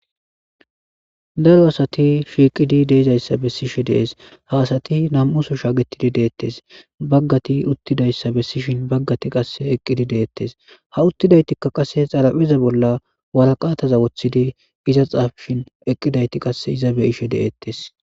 Daro asati shiiqidi dizayssa bessees, ha asati nam7u sohon shagettidi deizayssa bessees.baggati eqqidi dizaysa bessishin baggayti uttidi dizaysa bessees ha uttidayitikka qasse waraqaata xaafishin eqqidayti iza xeellishe de7eetes.